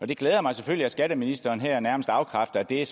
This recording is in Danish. det glæder mig selvfølgelig at skatteministeren her nærmest afkræfter at det er